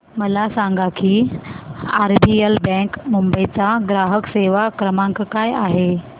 मला सांगा की आरबीएल बँक मुंबई चा ग्राहक सेवा क्रमांक काय आहे